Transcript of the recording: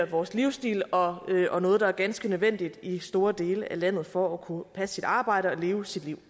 vores livsstil og og noget der er ganske nødvendigt i store dele af landet for at kunne passe sit arbejde og leve sit liv